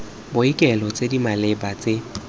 boikuelo tse di maleba tse